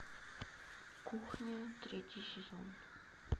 кухня третий сезон